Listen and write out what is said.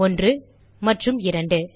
1 மற்றும் 2